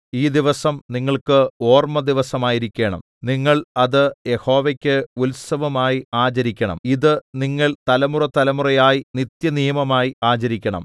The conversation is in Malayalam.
ഈ ദിവസം നിങ്ങൾക്ക് ഓർമ്മദിവസമായിരിക്കണം നിങ്ങൾ അത് യഹോവയ്ക്ക് ഉത്സവമായി ആചരിക്കണം ഇത് നിങ്ങൾ തലമുറതലമുറയായി നിത്യനിയമമായി ആചരിക്കണം